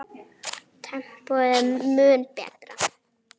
Tempóið er mun betra.